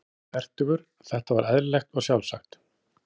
Hann var fertugur, þetta var eðlilegt og sjálfsagt.